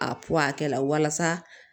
A pɔkɛ la walasa